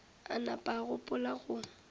a napa a gopola go